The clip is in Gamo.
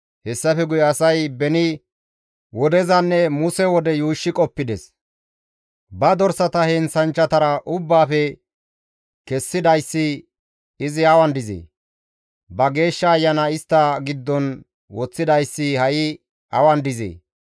Hessafe guye asay beni wodezanne Muse wode yuushshi qoppides; Ba dorsata heenththanchchatara ubbaafe kessidayssi izi awan dizee? Ba Geeshsha Ayana istta giddon woththidayssi ha7i awan dizee?